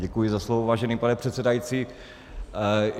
Děkuji za slovo, vážený pane předsedající.